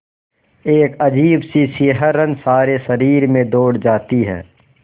एक अजीब सी सिहरन सारे शरीर में दौड़ जाती है